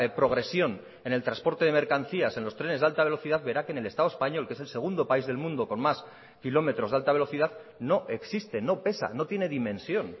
progresión en el transporte de mercancías en los trenes de alta velocidad verá que en el estado español que es el segundo país del mundo con más kilómetros de alta velocidad no existe no pesa no tiene dimensión